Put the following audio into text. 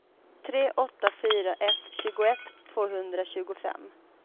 tre åtta fyra ett tjugoett tvåhundratjugofem